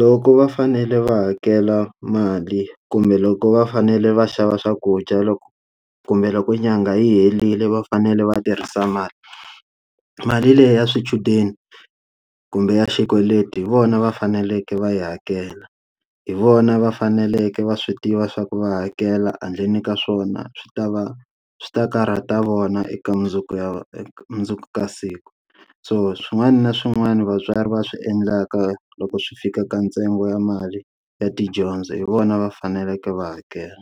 loko va fanele va hakela mali kumbe loko va fanele va xava swakudya loko kumbe loko inyanga yi herile va fanele va tirhisa mali. Mali leyi ya swichudeni kumbe ya xikweleti hi vona va faneleke va yi hakela, hi vona va faneleke va swi tiva swa ku va hakela handleni ka swona swi ta va swi ta karhata ta vona eka mundzuku ya mundzuku ya siku. So swin'wana na swin'wana vatswari va swi endlaka loko swi fika ka ntsengo ya mali ya tidyondzo hi vona va faneleke va hakela.